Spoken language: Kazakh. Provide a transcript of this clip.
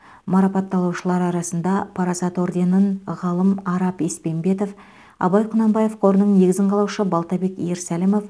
марапатталушылар арасында парасат орденін ғылым арап еспенбетов абай құнанбаев қорының негізін қалаушы балтабек ерсәлімов